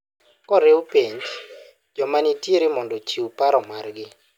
koriw penj joma nitiere mondo ochiw paro margi